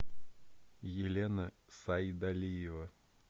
елена сайдалиева